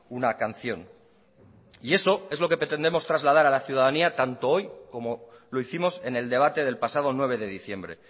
una canción y eso es lo que pretendemos trasladar a la ciudadanía tanto hoy como lo hicimos en el debate del pasado nueve de diciembre